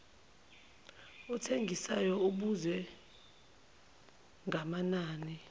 othengisayo ubuze ngamanani